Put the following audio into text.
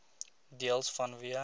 deels vanweë